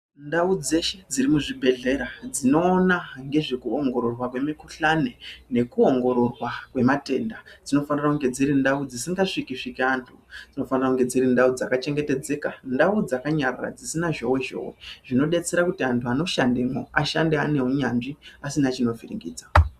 Ndau dzeshe dzirimuzvibhedhlera, dzinoona ngezvekuongororwa kwemikhuhlane nekuongororwa kwematenda dzinofanire kunge dziri ndau dzisingasviki-sviki antu, dzinofane kunge dziri ndau dzakachengetedzeka, ndau dzakanyarara dzisina zhowe-zhowe, zvinodetsera kuti antu anoshandemo, ashande aneunyanzvi, asina chinovhiringidza.